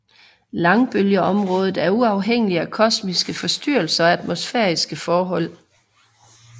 Langbølgeområdet er uafhængigt af kosmiske forstyrrelser og atmosfæriske forhold